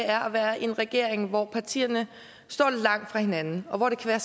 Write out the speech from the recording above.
er at være i en regering hvor partierne står langt fra hinanden og hvor det kan